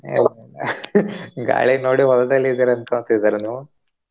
ಇಲ್ಲ ಇಲ್ಲಾ ಗಾಳಿ ನೋಡಿ ಹೊಲ್ದಲ್ಲಿ ಇದಿರಿ ಅನ್ಕೋಂತಿದಿರಾ ನೀವು?